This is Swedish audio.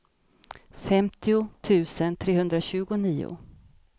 femtio tusen trehundratjugonio